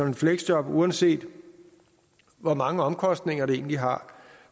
et fleksjob uanset hvor mange omkostninger det egentlig har